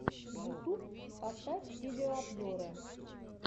ютуб поставь видеообзоры